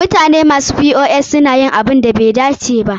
Mutane masu POS na yin abunda bai dace ba.